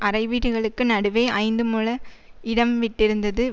அறைவீடுகளுக்கு நடுவே ஐந்துமுழ இடம் விட்டிருந்தது